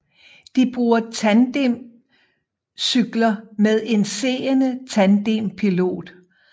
De bruger tandemcykler med en seende tandempilot